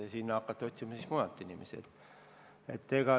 Sinna hakati siis otsima mujalt inimesi.